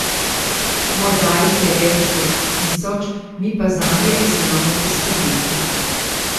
Morda jih je več kot tisoč, mi pa zanje znamo poskrbeti.